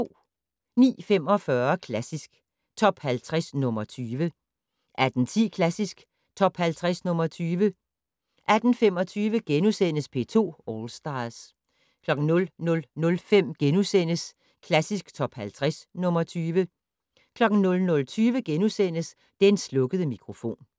09:45: Klassisk Top 50 - nr. 20 18:10: Klassisk Top 50 - nr. 20 18:25: P2 All Stars * 00:05: Klassisk Top 50 - nr. 20 * 00:20: Den slukkede mikrofon *